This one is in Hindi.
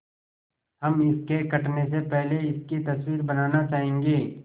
हम इसके कटने से पहले इसकी तस्वीर बनाना चाहेंगे